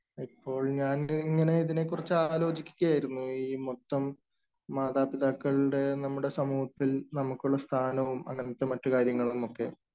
ഇപ്പോൾ ഞാൻ ദേ ഇങ്ങനെ ഇതിനെ കുറിച്ച് ആലോചിക്കുകയായിരുന്നു, ഇപ്പം മാതാപിതാക്കളുടെ നമ്മുടെ സമൂഹത്തിൽ നമുക്കുള്ള സ്ഥാനം അല്ലെങ്കിൽ ഇപ്പൊ മറ്റു കാര്യങ്ങളുമൊക്കെ.